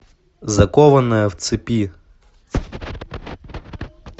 закованная в цепи